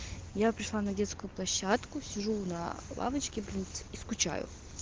я пришла на детскую площадку сижу на лавочке принце и скучаю